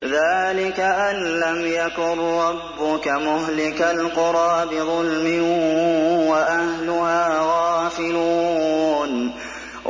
ذَٰلِكَ أَن لَّمْ يَكُن رَّبُّكَ مُهْلِكَ الْقُرَىٰ بِظُلْمٍ وَأَهْلُهَا غَافِلُونَ